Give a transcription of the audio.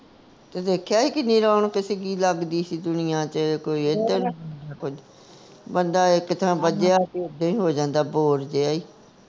ਤੇ ਦੇਖਿਆ ਹੀ ਕਿੰਨੀ ਰੌਣਕ ਸੀਗੀ ਲੱਗਦੀ ਸੀ ਦੁਨੀਆ ਚ ਕੋਈ ਇੱਧਰ ਕੋਈ ਬੰਦਾ ਇਕ ਥਾਂ ਬੱਝਿਆ ਉੱਦਾ ਹੀ ਹੋ ਜਾਂਦਾ bore ਜਿਆ